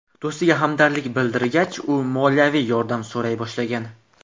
Do‘stiga hamdardlik bildirgach, u moliyaviy yordam so‘ray boshlagan.